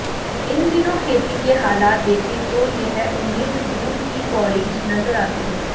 इन दिनों खेती के हालात देखें तो यह उम्मीद दूर की कौड़ी नजर आती है